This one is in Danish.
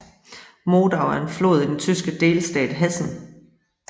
Modau er en flod i den tyske delstat Hessen